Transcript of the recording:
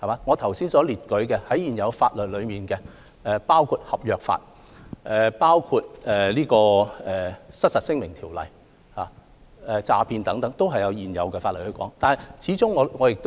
我剛才提到，在現有法例中，包括合約法，包括《失實陳述條例》以及對詐騙的禁止等，均可作出規管。